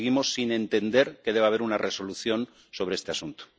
Seguimos sin entender que deba haber una resolución sobre este asunto.